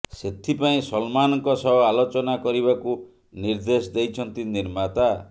ସେଥିପାଇଁ ସଲମାନଙ୍କ ସହ ଆଲୋଚନା କରିବାକୁ ନିର୍ଦ୍ଦେଶ ଦେଇଛନ୍ତି ନିର୍ମାତା